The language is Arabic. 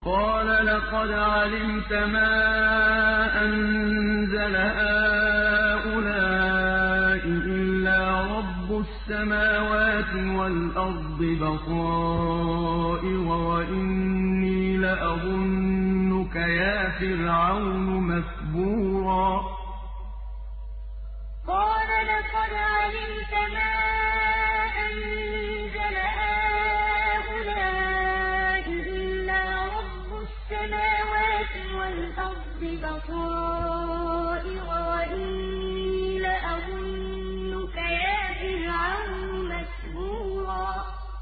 قَالَ لَقَدْ عَلِمْتَ مَا أَنزَلَ هَٰؤُلَاءِ إِلَّا رَبُّ السَّمَاوَاتِ وَالْأَرْضِ بَصَائِرَ وَإِنِّي لَأَظُنُّكَ يَا فِرْعَوْنُ مَثْبُورًا قَالَ لَقَدْ عَلِمْتَ مَا أَنزَلَ هَٰؤُلَاءِ إِلَّا رَبُّ السَّمَاوَاتِ وَالْأَرْضِ بَصَائِرَ وَإِنِّي لَأَظُنُّكَ يَا فِرْعَوْنُ مَثْبُورًا